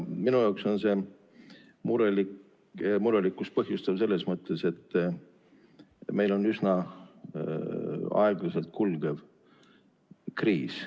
Minu jaoks on see murelikkust põhjustav selles mõttes, et meil on üsna aeglaselt kulgev kriis.